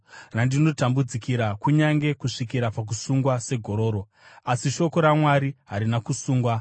randinotambudzikira kunyange kusvikira pakusungwa segororo. Asi shoko raMwari harina kusungwa.